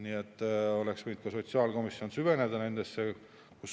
Nii et oleks võinud ka sotsiaalkomisjon süveneda nendesse.